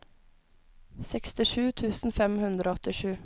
sekstisju tusen fem hundre og åttisju